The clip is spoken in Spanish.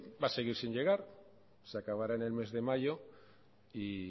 va a seguir sin llegar se acabará en el mes de mayo y